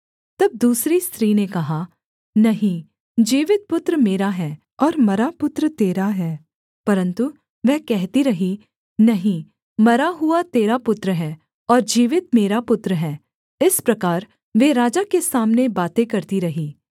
तब दूसरी स्त्री ने कहा नहीं जीवित पुत्र मेरा है और मरा पुत्र तेरा है परन्तु वह कहती रही नहीं मरा हुआ तेरा पुत्र है और जीवित मेरा पुत्र है इस प्रकार वे राजा के सामने बातें करती रहीं